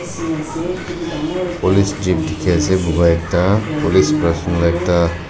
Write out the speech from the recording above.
police Jeep dikhiase buka ekta police pra